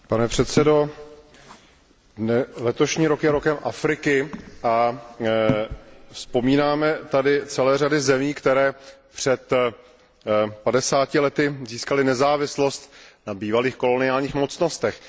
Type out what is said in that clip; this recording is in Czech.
Pane předsedající, letošní rok je rokem Afriky a vzpomínáme tady na celou řadu zemí, které před padesáti lety získaly nezávislost na bývalých koloniálních mocnostech.